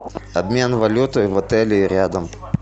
обмен валюты в отеле и рядом